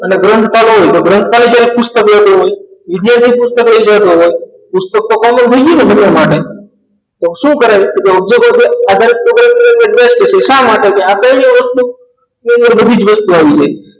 અને ગ્રંથકાળ હોય તો ગ્રંથકાળને લગતું પુસ્તક પણ હોય વિદ્યાર્થી પુસ્તક લઈ જતો હોય પુસ્તક તો common થઈ ગઈ ને બધા માટે તો શું કરાય તો object આધારિત programming કરવું best છે શા માટે આપેલી વસ્તુ તેની અંદર બધી જ વસ્તુઓ આવી જાય